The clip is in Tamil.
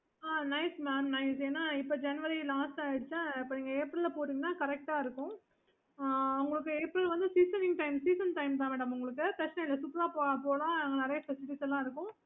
okay